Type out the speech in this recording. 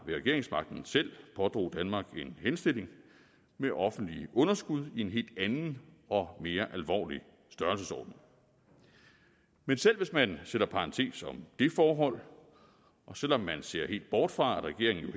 med regeringsmagten selv pådrog danmark en henstilling med offentlige underskud i en helt anden og mere alvorlig størrelsesorden men selv hvis man sætter en parentes om det forhold og selv om man ser helt bort fra at regeringen